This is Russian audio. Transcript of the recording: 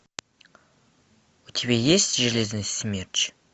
у тебя есть железный смерч